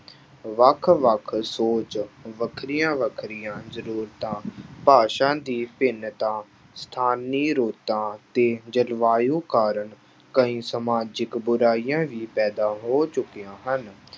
ਵੱਖ ਵੱਖ ਸੋਚ ਵੱਖਰੀਆਂ ਵੱਖਰੀਆਂ ਜ਼ਰੂਰਤਾਂ ਭਾਸ਼ਾ ਦੀ ਭਿੰਨਤਾ ਸਥਾਨੀ ਰੁੱਤਾਂ ਤੇ ਜਲਵਾਯੂ ਕਾਰਨ ਕਈ ਸਮਾਜਿਕ ਬੁਰਾਈਆਂ ਵੀ ਪੈਦਾ ਹੋ ਚੁੱਕੀਆਂ ਹਨ।